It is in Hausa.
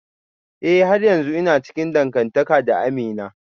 Eh har yanzu ina cikin dangantaka da Amina